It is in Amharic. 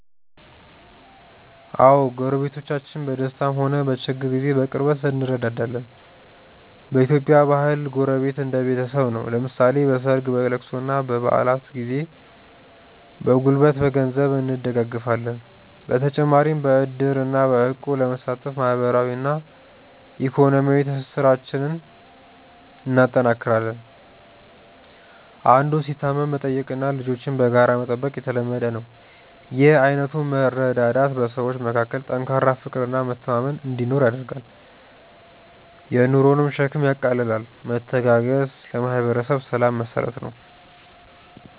አዎ፣ ጎረቤቶቻችን በደስታም ሆነ በችግር ጊዜ በቅርበት እንረዳዳለን። በኢትዮጵያ ባህል ጎረቤት እንደ ቤተሰብ ነው፤ ለምሳሌ በሰርግ፣ በልቅሶና በበዓላት ጊዜ በጉልበትና በገንዘብ እንደጋገፋለን። በተጨማሪም በዕድርና በእቁብ በመሳተፍ ማህበራዊና ኢኮኖሚያዊ ትስስራችንን እናጠናክራለን። አንዱ ሲታመም መጠየቅና ልጆችን በጋራ መጠበቅ የተለመደ ነው። ይህ አይነቱ መረዳዳት በሰዎች መካከል ጠንካራ ፍቅርና መተማመን እንዲኖር ያደርጋል፤ የኑሮንም ሸክም ያቃልላል። መተጋገዝ ለማህበረሰብ ሰላም መሰረት ነው።